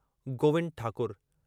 Govind Thakur